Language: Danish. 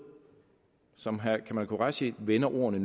som herre kamal qureshi vender ordene